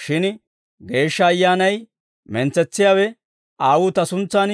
shin Geeshsha Ayyaanay, mentsetsiyaawe, Aawuu Ta suntsan